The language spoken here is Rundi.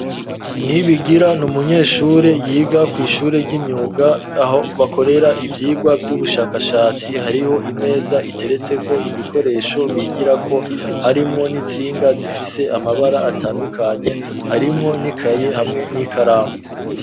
Nibigira n'umunyeshuri yiga kw'shure ry'imyuga aho bakorera ivyigwa vy'ubushakashatsi hariho imeza iteretseko ibikoresho bigirako harimwo n'intsinga zifise amabara atandukanye harimwo n'ikaye hamwe n'ikaramu